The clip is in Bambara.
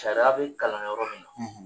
Sariya bɛ kalan yɔrɔ min